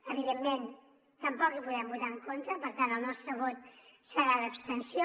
evidentment tampoc hi podem votar en contra per tant el nostre vot serà d’abstenció